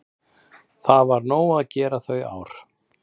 Það var nóg að gera þau ár.